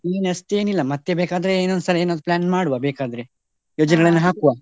ಏನ್ ಅಷ್ಟೇನೂ ಇಲ್ಲ ಮತ್ತೆ ಬೇಕಾದ್ರೆ ಮತ್ತೆ ಇನ್ನೊಂದ್ ಸರಿ ಏನಾದ್ರೂ plan ಮಾಡುವ ಬೇಕಾದ್ರೆ, ಯೋಚನೆಗಳನ್ನು ಹಾಕುವ.